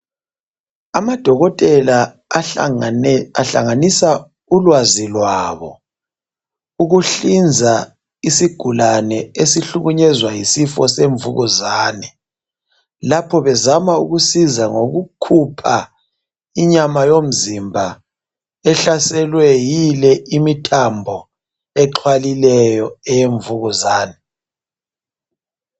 Amadokotela ahlangane ehlanganisa ulwazi lwabo ukuhlinza isigulane esihlukunyezwa yisifo semvukuzane. Lapho bezama ukusiza ngokukhupha inyama yomzimba ehlaselwe yile imithambo exhwalileyo eyemvukuzane.